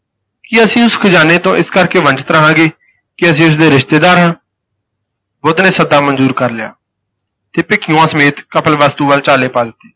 ਕੀ ਅਸੀਂ ਉਸ ਖ਼ਜ਼ਾਨੇ ਤੋਂ ਇਸ ਕਰਕੇ ਵੰਚਿਤ ਰਹਾਂਗੇ ਕਿ ਅਸੀਂ ਉਸਦੇ ਰਿਸ਼ਤੇਦਾਰ ਹਾਂ ਬੁੱਧ ਨੇ ਸੱਦਾ ਮਨਜੂਰ ਕਰ ਲਿਆ ਤੇ ਭਿੱਖੂਆਂ ਸਮੇਤ ਕਪਿਲਵਸਤੂ ਵੱਲ ਚਾਲੇ ਪਾ ਦਿੱਤੇ।